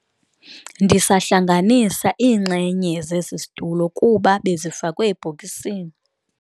Ndisahlanganisa iinxenye zesi situlo kuba bezifakwe ebhokisini.